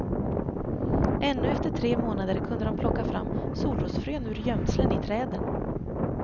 Ännu efter tre månader kunde de plocka fram solrosfrön ur gömslen i träden.